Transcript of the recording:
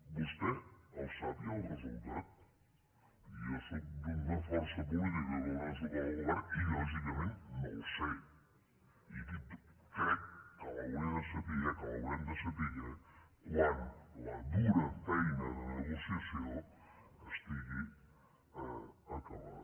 vostè el sap ja el resultat jo sóc d’una força política que dóna suport al govern i lògicament no el sé i crec que l’hauré de saber que l’haurem de saber quan la dura feina de negociació estigui acabada